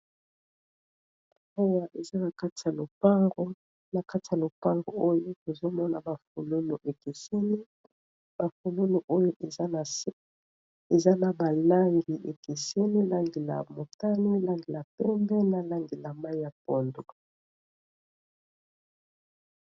Awa eza na kati ya lopango, na kati ya lopango oyo tozomona ba fololo ekiseni, ba fololo oyo eza na se, eza na ba langi ekiseni, langi ya motane, langi ya pembe, na langi ya mai ya pondu.